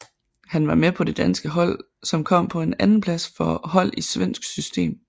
Han var med på det danske hold som kom på en andenplads for hold i svensk system